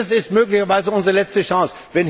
Dies ist möglicherweise unsere letzte Chance.